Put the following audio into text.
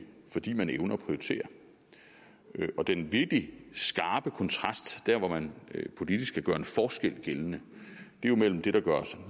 fordi man evner at prioritere den virkelig skarpe kontrast der hvor man politisk kan gøre en forskel gældende er jo mellem det der